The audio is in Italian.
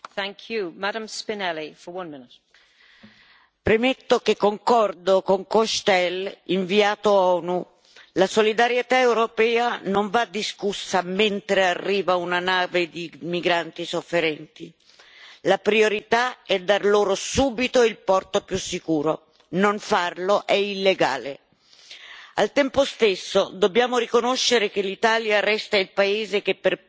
Signora Presidente, onorevoli colleghi, premetto che concordo con l'inviato dell'ONU Cochetel la solidarietà europea non va discussa mentre arriva una nave di migranti sofferenti la priorità è dar loro subito il porto più sicuro, non farlo è illegale. Al tempo stesso dobbiamo riconoscere che l'Italia resta il paese che per primo registra gli arrivi